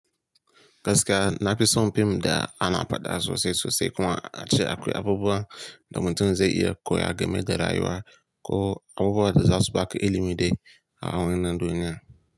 Gaskiya na fi son fim da ana faɗa sosai-sosai kuma a ce akwai abubuwa da mutum zai iya koya game da rayuwa ko abubuwan da za su baka ilimi dai a wannan duniya.